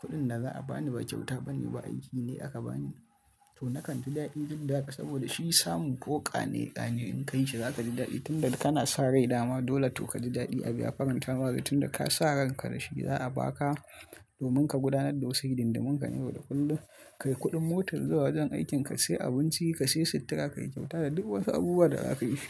kuɗin da za a bani ba kyauta bane, ba aiki ne aka bani. To nakan ji daɗi duk da haka saboda shi samun ko ƙane ƙane in ka yi shi za ka ji daɗi tunda kana sa rai dama. Dole to ka ji daɗi abi ya farin tanari tunda ka sa ranka da shi za a ba ka domin ka gudanar da wasu hididumunka na yau da kullum ka yi kuɗin motar zuwa wajen aikinka, ka sayi abinci, ka sayi sutura, ka yi kyauta da duk wasu abubuwa da za ka yishi.